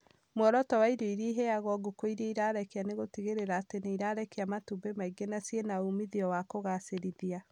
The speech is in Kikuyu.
Mworoto wa irio iria iraheo ngũkũ iria irarekia nĩ gũtigĩrĩra atĩ nĩirarekia matumbĩ maingĩ na ciĩna umithio wa kũgagĩcĩrithia